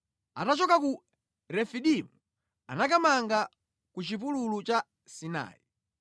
Atachoka ku Refidimu anakamanga ku chipululu cha Sinai